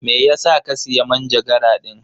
Me yasa ka siya manjagara din?